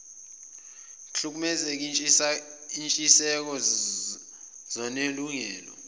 kuhlukumeze izintshiseko zonelungelo